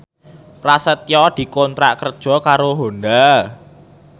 Prasetyo dikontrak kerja karo Honda